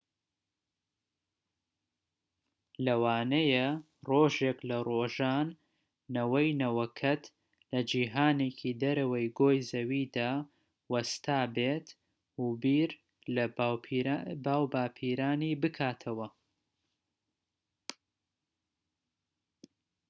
لەوانەیە ڕۆژێك لە ڕۆژان نەوەی نەوەکەت لە جیهانێکی دەرەوەی گۆی زەویدا وەستابێت و بیر لە باووباپیرانی بکاتەوە